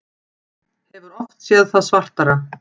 Hefur oft séð það svartara